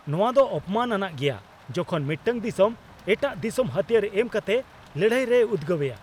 ᱱᱚᱣᱟᱫᱚ ᱚᱯᱚᱢᱟᱱ ᱟᱱᱟᱜ ᱜᱮᱭᱟ ᱡᱚᱠᱷᱚᱱ ᱢᱤᱫᱴᱟᱝ ᱫᱤᱥᱚᱢ ᱮᱴᱟᱜ ᱫᱤᱥᱚᱢ ᱦᱟᱹᱛᱭᱟᱹᱨ ᱮᱢ ᱠᱟᱛᱮ ᱞᱟᱹᱲᱦᱟᱭ ᱨᱮᱭ ᱩᱫᱜᱟᱹᱣᱮᱭᱟ ᱾